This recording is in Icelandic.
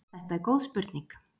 Þetta er góð spurning.